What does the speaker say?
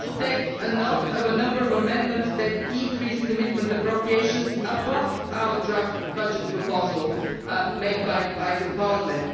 We also take note of a number of amendments that increase commitment appropriations above the draft budget proposal made by the Parliament.